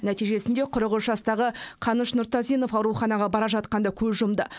нәтижесінде қырық үш жастағы қаныш нұртазинов ауруханаға бара жатқанда көз жұмды